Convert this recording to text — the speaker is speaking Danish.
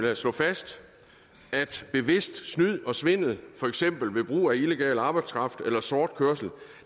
jeg slå fast at bevidst snyd og svindel for eksempel ved brug af illegal arbejdskraft eller sort kørsel